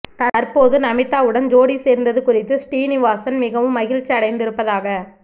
தற்போது நமீதாவுடன் ஜோடி சேர்ந்தது குறித்து ஸ்ரீனிவாசன் மிகவும் மகிழ்ச்சி அடைந்திருப்பதாக